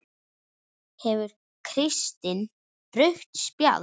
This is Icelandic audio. Gefur Kristinn rautt spjald?